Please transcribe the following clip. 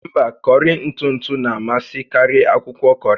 Mba, kọrị ntụ ntụ na-amasị karịa akwụkwọ kọrị